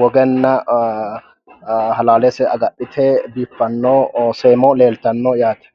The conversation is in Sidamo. woganna halaalese agadhite biiffanno seemo leeltanno yaate